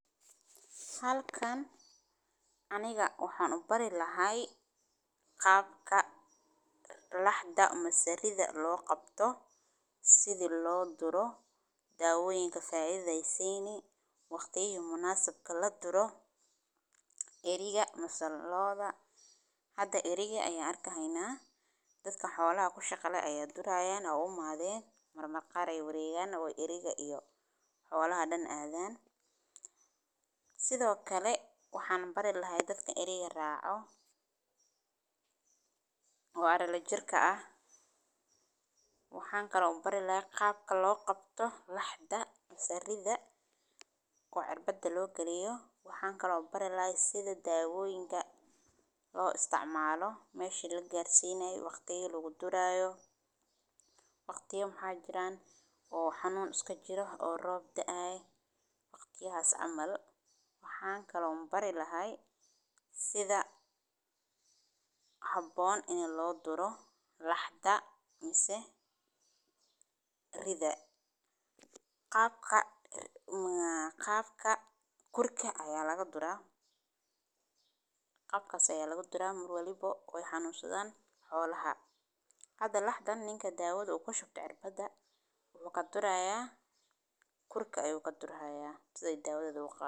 Talaalka Idaaha waa mowjadi dhibaatooyinka ugu weyn ee Soomaaliya ka taagan, kaas oo sanad walba sii xoogganaya sababo la xiriira isbeddelka cimilada, daaq-xumo, iyo maamul la’aanta kaydsanayaasha biyaha, taas oo keentay in beeraha ay kala go’aan, xoolaha dhinteen, iyo dadka badiyaa ay ku noqdaan kuwo ay gaajo iyo abaaro haysato, sidaas darteed bulshada deegaanka ahi waxay u baahan yihiin caawimo degdeg ah oo ay ka mid yihiin bixinta cunto, biyo nadiif ah, iyo qalabka lagaga hortago cudurrada ku faafan kara marka ay jirto khilaaf siyaasadeed iyo dagaal sokeeye oo aan ka dhigin hay’adaha gargaarka iyo dawladda mid ay si fudud ugu gaaraan dadka ay u baahan yihiin.